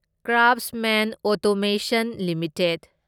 Craftsman automation limited